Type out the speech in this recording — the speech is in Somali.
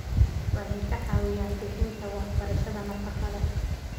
Waxay ka caawiyaan bixinta waxbarashada nafaqada.